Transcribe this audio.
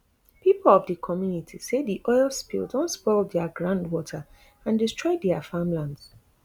pipo of di community say di oil spill don spoil dia groundwater and destroy dia farmlands